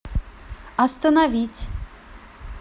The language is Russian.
остановить